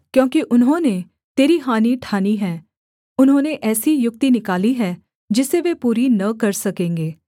क्योंकि उन्होंने तेरी हानि ठानी है उन्होंने ऐसी युक्ति निकाली है जिसे वे पूरी न कर सकेंगे